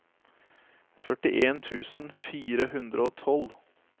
førtien tusen fire hundre og tolv